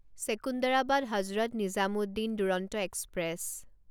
Secunderabad Hazrat Nizamuddin Duronto express